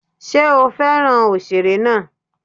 Ṣé ó fẹ́ràn òṣèré náà?